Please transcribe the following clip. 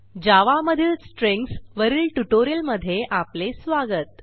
जावा मधील स्ट्रिंग्ज वरील ट्युटोरियलमध्ये आपले स्वागत